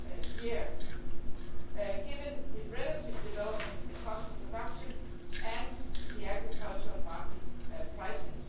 year, given the relative development in the cost of production and the agricultural market prices.